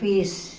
Fiz...